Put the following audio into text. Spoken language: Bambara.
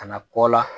Ka na kɔ la